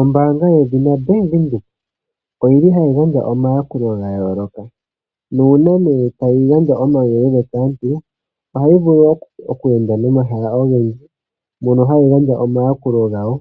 Ombaanga yedhina Bank Windhoek oyi li hayi gandja omayakulo ga yooloka. Nuuna nee tayi gandja omauyelele kaantu ohayi vulu oku enda nomahala ogendji mono hayi gandja omayakulo gayo